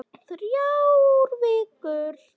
Þrjár vikur.